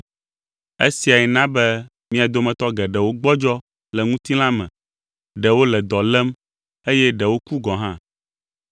Esiae na be mia dometɔ geɖewo gbɔdzɔ le ŋutilã me, ɖewo le dɔ lém eye ɖewo ku gɔ̃ hã.